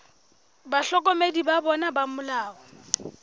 bahlokomedi ba bona ba molao